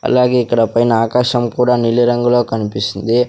అలాగే ఇక్కడ పైన ఆకాశం కూడా నిలిరంగులో కన్పిస్తుంది.